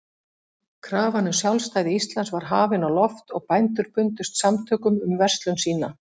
Krafan um sjálfstæði Íslands var hafin á loft, og bændur bundust samtökum um verslun sína.